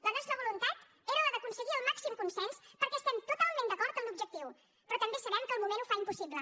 la nostra voluntat era la d’aconseguir el màxim consens perquè estem totalment d’acord en l’objectiu però també sabem que el moment ho fa impossible